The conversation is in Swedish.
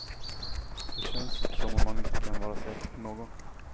Det känns som om man inte kan vara säker på någon.